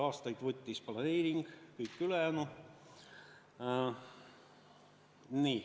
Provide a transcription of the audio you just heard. Aastaid võttis planeering, kõik ülejäänu.